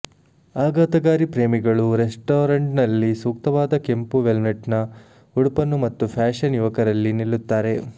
ಆಘಾತಕಾರಿ ಪ್ರೇಮಿಗಳು ರೆಸ್ಟಾರೆಂಟ್ನಲ್ಲಿ ಸೂಕ್ತವಾದ ಕೆಂಪು ವೆಲ್ವೆಟ್ನ ಉಡುಪನ್ನು ಮತ್ತು ಫ್ಯಾಶನ್ ಯುವಕರಲ್ಲಿ ನಿಲ್ಲುತ್ತಾರೆ